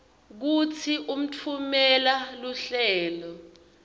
kutsi utfumela luhlelo